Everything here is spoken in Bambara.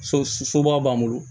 So soba b'an bolo